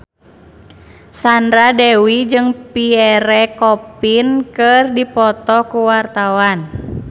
Sandra Dewi jeung Pierre Coffin keur dipoto ku wartawan